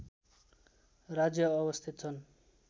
राज्य अवस्थित छन्